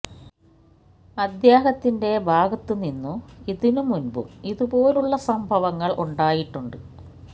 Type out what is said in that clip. അദ്ദേഹത്തിന്റെ ഭാഗത്ത് നിന്നു ഇതിനു മുൻപും ഇതുപോലുള്ള സംഭവങ്ങൾ ഉണ്ടായിട്ടുണ്ട്